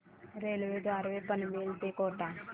railway द्वारे पनवेल ते कोटा